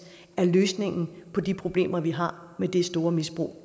er løsningen på de problemer vi har med det store misbrug